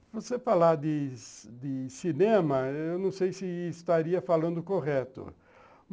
Se você falar de de cinema, eu não sei se estaria falando correto.